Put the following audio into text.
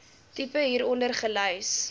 tipe hieronder gelys